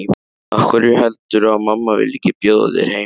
Af hverju heldurðu að mamma vilji ekki bjóða þér heim?